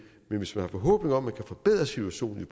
hvis man har forhåbninger om at man kan forbedre situationen i